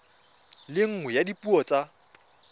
le nngwe ya dipuo tsa